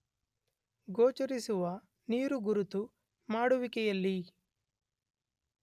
ಗೋಚರಿಸುವ ನೀರುಗುರುತು ಮಾಡುವಿಕೆಯಲ್ಲಿ